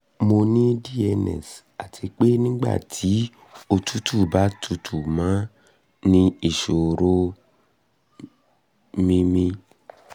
mo ní dns um àti um pé nígbà tí òtútù bá tutù mo ní ìṣòro um mímí ìṣòro um mímí